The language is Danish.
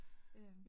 Øh